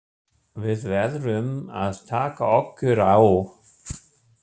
Við verðum að taka okkur á.